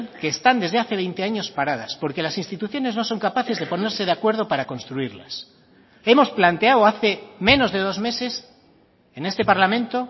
que están desde hace veinte años paradas porque las instituciones no son capaces de ponerse de acuerdo para construirlas hemos planteado hace menos de dos meses en este parlamento